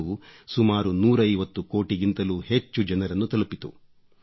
ಇದು ಸುಮಾರು 150 ಕೋಟಿಗಿಂತಲೂ ಹೆಚ್ಚು ಜನರನ್ನು ತಲುಪಿತು